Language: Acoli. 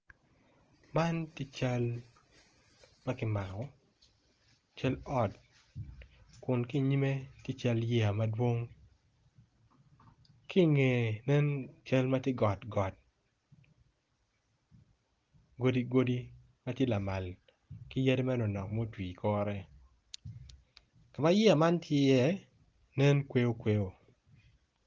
Man ki cal ma kimako kun ki iyime tye cal yeya madwong ki ingeye nen cal ma tye got got godi godi ma tye lamal ki yadi manok ma otwi i kore ma yeya man tye nen kweyo kweyo.